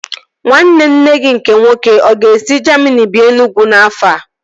Nwanne nne gị nke nwoke ọ ga-esi Jamini bịa Enugwu n'afọ a?